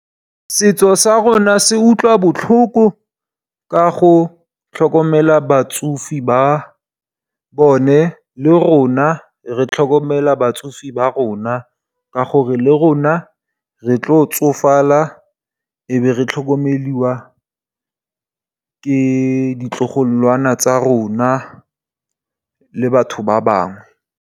Setso sa rona se utlwa botlhoko ka go tlhokomela batsofe ba bone le rona re tlhokomela batsofe ba rona. Ka gore le rona re tlo tsofala e be re tlhokomelwa ke ditlogolwana tsa rona le batho ba bangwe.